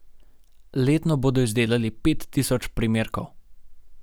Letno bodo izdelali pet tisoč primerkov.